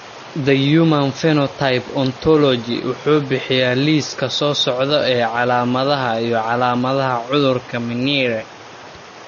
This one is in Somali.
The Human Phenotype Ontology wuxuu bixiyaa liiska soo socda ee calaamadaha iyo calaamadaha cudurka Mnire.